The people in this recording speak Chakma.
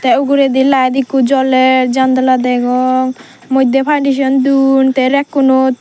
te uguredi light ekko joler jandala dagong modde don te rack kunod.